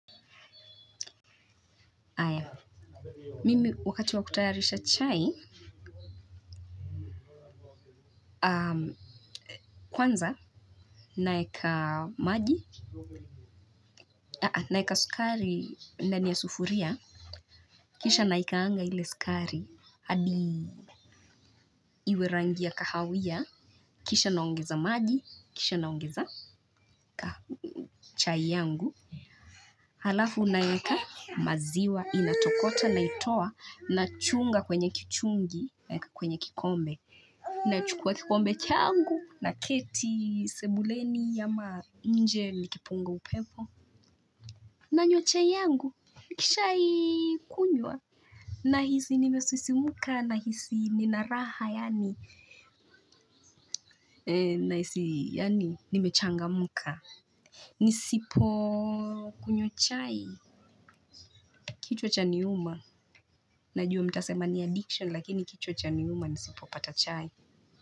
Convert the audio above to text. Mimi wakati wa kutayarisha chai kwanza naeka maji naeka sukari ndani ya sufuria kisha naikaanga ile sukari hadi iwe rangia ya kahawia kisha naongeza maji kisha naongeza chai yangu halafu naweka maziwa inatokota naitoa na chunga kwenye kichungi naeka kwenye kikombe nachukua kikombe changu na keti sebuleni ama nje nikipunga upepo nanywa chai yangu nikishai kunywa nahisi nimesisimuka na hisi nina raha yani nahisi yani nimechangamka nisipo kunywa chai kichwa chani uma najua mtasema ni addiction lakini kichwa chaniuma nisipo pata chai.